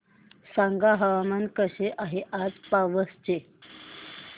सांगा हवामान कसे आहे आज पावस चे